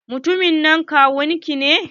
Mutumin nan kawun ki ne?